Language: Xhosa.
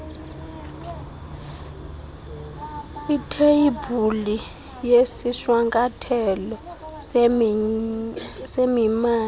itheyibhuli yesishwankathelo semimandla